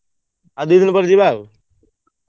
ଆଉ ଦି ଦିନ ପରେ ଯିବା ଆଉ।